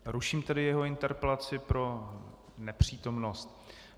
Ruším tedy jeho interpelaci pro nepřítomnost.